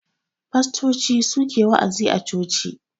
Fastoci su ke wa'azi a coci.